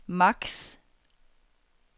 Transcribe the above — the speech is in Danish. maks